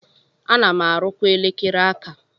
Ana m arụkwa elekere aka.